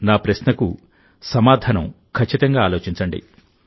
నా ప్రశ్నకు సమాధానం ఖచ్చితంగా ఆలోచించండి